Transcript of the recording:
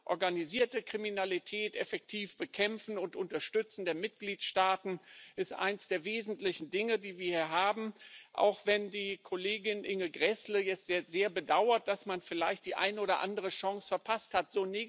Organisierte Kriminalität effektiv bekämpfen und die Mitgliedstaaten unterstützen ist eines der wesentlichen Dinge, die wir hier haben auch wenn die Kollegin Inge Grässle es jetzt sehr bedauert, dass man vielleicht die eine oder andere Chance verpasst hat.